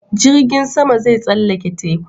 Jirgin sama zai tsallake teku